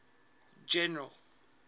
general